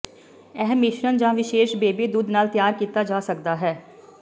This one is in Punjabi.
ਇਹ ਮਿਸ਼ਰਣ ਜਾਂ ਵਿਸ਼ੇਸ਼ ਬੇਬੀ ਦੁੱਧ ਨਾਲ ਤਿਆਰ ਕੀਤਾ ਜਾ ਸਕਦਾ ਹੈ